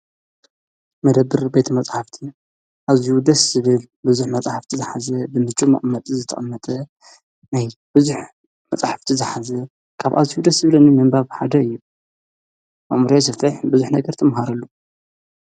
መደብር ቤቲ መጽሓፍቲ ኣዙይ ውደስ ስብል ብዙኅ መጻሕፍቲ ዝኃዘ ብምች መቕመጢ ዘተቐመጠ ናይ ብዙኅ መጽሕፍቲ ዝኃዘ ካብ ኣዙውደስ ስብልኒ መንበብሓደ እየ ኣሙርያ ሰፍተይሕ ብዙኅ ነገር ተምሃረሉ።